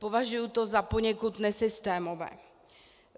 Považuji to za poněkud nesystémové.